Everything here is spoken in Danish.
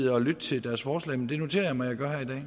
at lytte til deres forslag men det noterer mig at